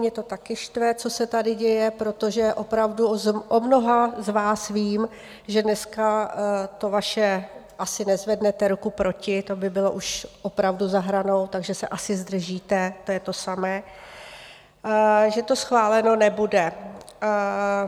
Mě to taky štve, co se tady děje, protože opravdu o mnoha z vás vím, že dneska to vaše - asi nezvednete ruku proti, to by bylo už opravdu za hranou, takže se asi zdržíte, to je to samé, že to schváleno nebude.